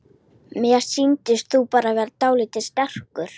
Mér sýndist þú bara vera dáldið strekktur.